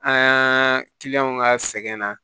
An kiliɲanw ka sɛgɛnna